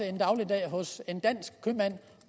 en dagligdag hos en dansk købmand